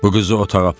Bu qızı otağa apar.